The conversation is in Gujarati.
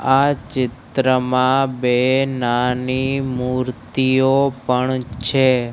આ ચિત્રમાં બે નાની મૂર્તિઓ પણ છે.